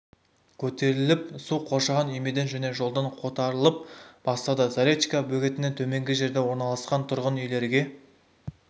көтеріліп су қоршаған үймеден және жолдан қотарылып бастады заречка бөгеттен төменгі жерде орналасқан тұрғын үйлерге